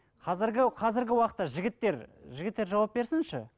қазіргі қазіргі уақытта жігіттер жігіттер жауап берсінші